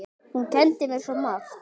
Hún kenndi mér svo margt.